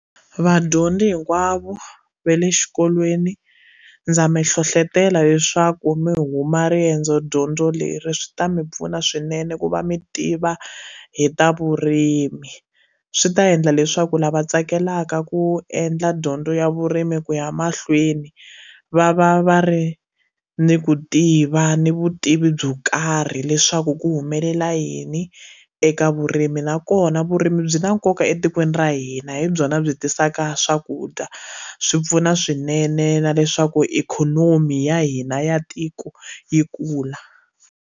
Vadyondzi hinkwavo va le xikolweni ndza mi hlohlotelo leswaku mi huma riendzodyondzo leri swi ta mi pfuna swinene ku va mi tiva hi ta vurimi swi ta endla leswaku lava tsakelaka ku endla dyondzo ya vurimi ku ya mahlweni va va va ri ni ku tiva ni vutivi byo karhi leswaku ku humelela yini eka vurimi nakona vurimi byi na nkoka etikweni ra hina hi byona byi tisaka swakudya swi pfuna swinene na leswaku ikhonomi ya hina ya tiko yi kula.